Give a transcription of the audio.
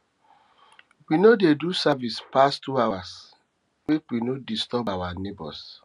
we no dey do service pass two hours make we no disturb our nebors